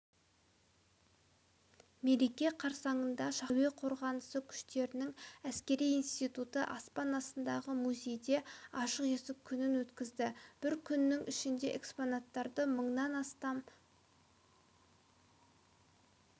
мереке қарсаңында шаһардағы әуе қорғанысы күштерінің әскери институты аспан астындағы музейде ашық есік күнін өткізді бір күннің ішінде экспонаттарды мыңнан астам